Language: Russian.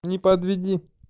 не подведи